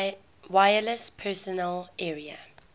wireless personal area